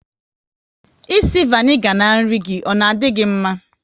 Ịsị vanigar n'nri gi, ọ na di gị mma?